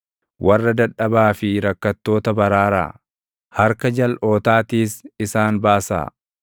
Warra dadhabaa fi rakkattoota baraaraa; harka jalʼootaatiis isaan baasaa.